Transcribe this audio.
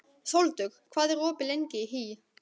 Sóldögg, hvað er opið lengi í HÍ?